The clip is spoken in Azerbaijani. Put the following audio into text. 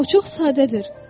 O çox sadədir.